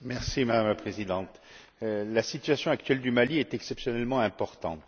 Madame la Présidente, la situation actuelle du Mali est exceptionnellement importante.